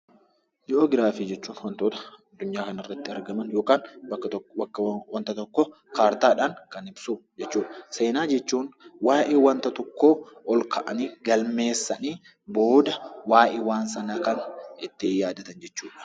Jiogiraafii jechuun waantota addunyaa kana irratti argaman yookaan bakka waanta tokko kaartaadhaan kan ibsu jechuudha. Seenaa jechuun waa'ee wanta tokko ol kaa'anii galmeessanii booda waa'ee waan sanaa ittiin yaadatan jechuudha.